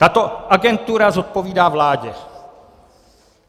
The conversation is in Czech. Tato agentura zodpovídá vládě.